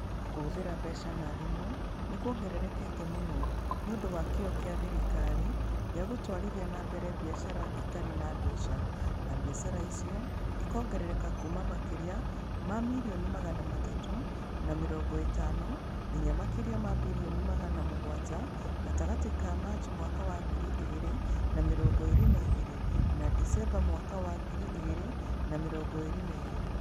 Kũhũthĩra mbeca na thimũ nĩ kwongererekete mũno nĩ ũndũ wa kĩyo kĩa thirikari gĩa gũtwarithia na mbere biacara itarĩ na mbeca, na biacara icio ikĩongerereka kuuma makĩria ma milioni magana matatũ na mĩrongo ĩtano nginya makĩria ma bilioni magana mũgwanja gatagatĩ ka Machi mwaka wa ngiri igĩrĩ na mĩrongo ĩĩrĩ na igĩrĩ na Dicemba mwaka wa ngiri igĩrĩ na mĩrongo ĩĩrĩ na igĩrĩ.